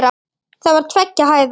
Það var tveggja hæða.